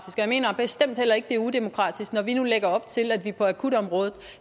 mener bestemt heller ikke det er udemokratisk når vi nu lægger op til at der på akutområdet